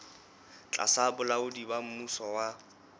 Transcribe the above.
tlasa bolaodi ba mmuso wa